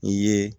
I ye